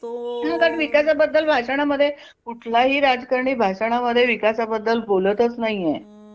हा कारण विकासाबद्दल भाषणामध्ये कुठला ही राजकारणी भाषण मध्ये विकासाबद्दल बोलतच नाहीय